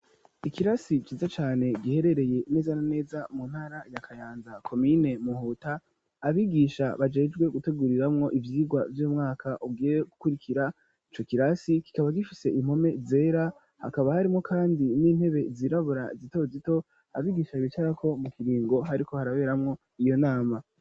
ikirasi ciza cane giherereye neza na neza mu ntara ya Kayanza komine muhuta, abigisha bajejwe guteguriramwo ivyigwa vy'umwaka ugiye gukurikira ico kirasi kikaba gifise impome zera hakaba harimwo kandi n'intebe zirabura zito zito abigisha bicarako mu kiringo hariko haraberamwo iyo nama.